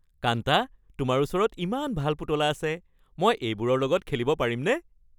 কান্তা, তোমাৰ ওচৰত ইমান ভাল পুতলা আছে। মই এইবোৰৰ লগত খেলিব পাৰিমনে?